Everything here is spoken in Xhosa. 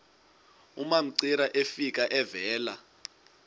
umamcira efika evela